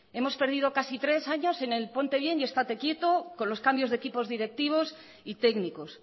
hemos perdido casi tres años en el ponte bien y estate quieto con los cambios de equipos directivos y técnicos